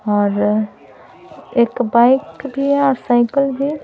और एक बाइक भी हैं और साइकिल भी हैं।